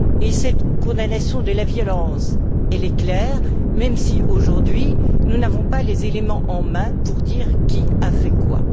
Et cette condamnation de la violence est claire même si, aujourd'hui, nous n'avons pas les éléments en main pour dire qui a fait quoi.